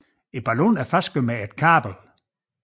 Ballonen er fastgjort med et kabel